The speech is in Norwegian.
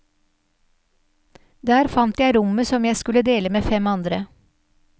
Der fant jeg rommet som jeg skulle dele med fem andre.